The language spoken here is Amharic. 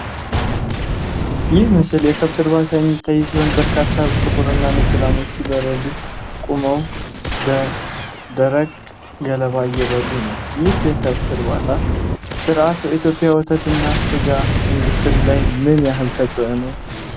ይህ ምስል የከብት እርባታ የሚታይ ሲሆን፣ በርካታ ጥቁርና ነጭ ላሞች በረድፍ ቆመው ደረቅ ገለባ እየበሉ ነው። ይህ የከብት እርባታ ሥርዓት በኢትዮጵያ ወተትና ስጋ ኢንዱስትሪ ላይ ምን ያህል ተጽእኖ አለው?